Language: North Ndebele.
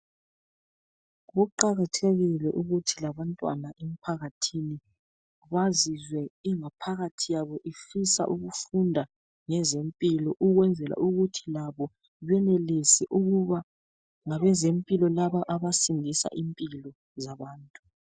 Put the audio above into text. Kuqakathekile ukuthi labantwana emphakathini bazizwe ingaphakathi yabo ifisa ukufunda ngezempilo, ukwenzela ukuthi labo benelise ukuba ngabezempilo laba abasindisa impilo zabantu.